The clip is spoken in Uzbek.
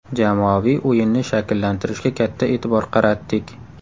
Jamoaviy o‘yinni shakllantirishga katta e’tibor qaratdik.